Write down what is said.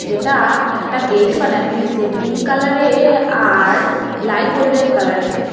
এটা একটা গেইট বানানি হইসে পিংক কালারে আর লাইট গোল্ডেন কালার দিয়া।